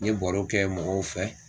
N ye baro kɛ mɔgɔw fɛ.